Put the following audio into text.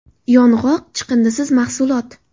Yong‘oq – chiqindisiz mahsulot.